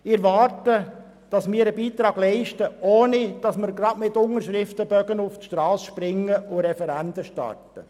Ich erwarte, dass wir einen Beitrag leisten, ohne dass wir gerade mit Unterschriftenbogen auf die Strasse gehen und Referenden starten.